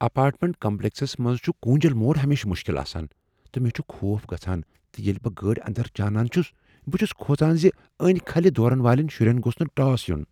Apartment complexes منٛز چھ كوُنجل موڑ ہمیشہٕ مشکل آسان تہٕ مےٚ چھ خوف گژھان ز ییٚلہ بہٕ گٲڑۍ اندر ژانان چھٗس بہٕ چھٗس کھوژان ز، ٲنۍ كھلہِ دورن والین شٗرین گوٚژھ نہ ٹاس یُن۔